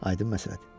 Aydın məsələdir.